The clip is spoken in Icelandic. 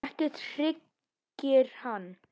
Ekkert hryggir hann.